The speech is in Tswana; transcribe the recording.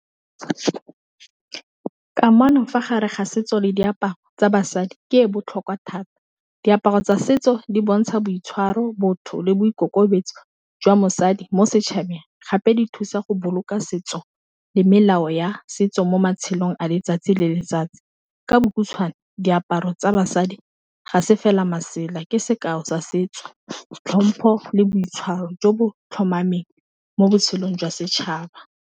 Kamano fa gare ga setso le diaparo tsa basadi ke e botlhokwa thata, diaparo tsa setso di bontsha boitshwaro botho le boikokobetso jwa mosadi mo setšhabeng, gape di thusa go boloka setso le melao ya setso mo matshelong a letsatsi le letsatsi, ka bo khutshwane diaparo tsa basadi ga se fela masela ke sekao sa setso tlhompho le boitshwaro jo bo tlhomameng mo botshelong jwa setšhaba.